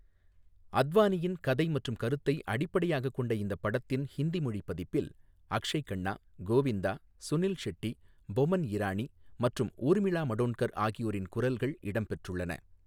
அத்வானியின் கதை மற்றும் கருத்தை அடிப்படையாகக் கொண்ட இந்த படத்தின் ஹிந்தி மொழி பதிப்பில் அக்ஷய் கன்னா, கோவிந்தா, சுனில் ஷெட்டி, போமன் இரானி மற்றும் ஊர்மிளா மடோண்ட்கர் ஆகியோரின் குரல்கள் இடம்பெற்றுள்ளன.